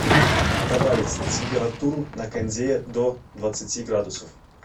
добавить температуру на кондее до двадцати градусов